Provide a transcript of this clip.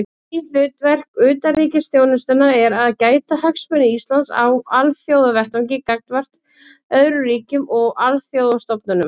Meginhlutverk utanríkisþjónustunnar er að gæta hagsmuna Íslands á alþjóðavettvangi gagnvart öðrum ríkjum og alþjóðastofnunum.